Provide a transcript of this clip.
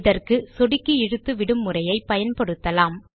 இதற்கு சொடுக்கி இழுத்து விடும் முறையை பயன்படுத்தலாம்